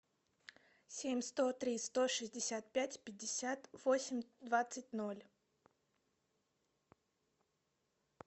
семь сто три сто шестьдесят пять пятьдесят восемь двадцать ноль